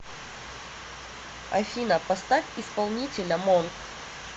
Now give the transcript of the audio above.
афина поставь исполнителя монк